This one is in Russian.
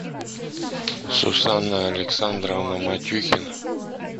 сусанна александровна матюхина